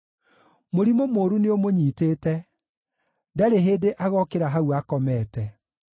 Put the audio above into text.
“Mũrimũ mũũru nĩũmũnyiitĩte; ndarĩ hĩndĩ agokĩra hau akomete.”